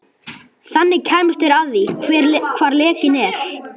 Þannig kæmust þeir að því, hvar lekinn er.